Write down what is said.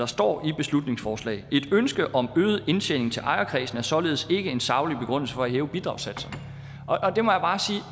står i beslutningsforslaget et ønske om øget indtjening til ejerkredsen er således ikke en saglig begrundelse for at hæve bidragssatserne